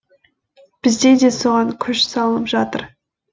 бізде де соған күш салынып жатыр